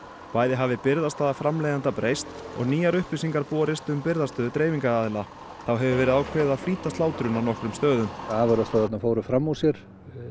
bæði hafði birgðastaða framleiðenda breyst og nýjar upplýsingar borist um birgðastöðu dreifingaraðila þá hefur verið ákveðið að flýta slátrun á nokkrum stöðum afurðastöðvarnar fóru fram úr sér